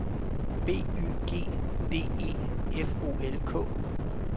B Y G D E F O L K